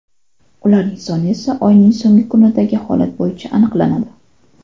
Ularning soni esa oyning so‘nggi kunidagi holat bo‘yicha aniqlanadi.